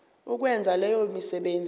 ukwenza leyo misebenzi